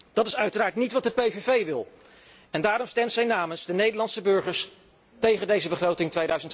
Dat is uiteraard niet wat de PVV wil, en daarom stemt zij namens de Nederlandse burgers tegen deze begroting